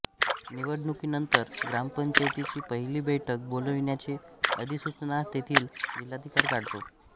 निवडणुकीनंतर ग्रामपंचायतीची पहिली बैठक बोलाविण्याची अधिसूचना तेथील जिल्हाधिकारी काढतो